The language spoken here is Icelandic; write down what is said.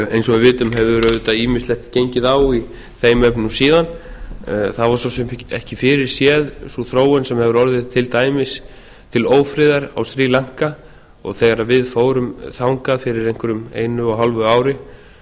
eins og við vitum hefur auðvitað ýmislegt gengið á í þeim efnum síðan það var svo sem ekki fyrirséð sú þróun sem hefur orðið til dæmis til ófriðar á sri lanka og þegar við fórum þangað fyrir einhverjum einu og hálfu ári